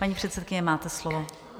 Paní předsedkyně, máte slovo.